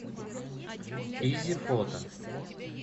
изи фото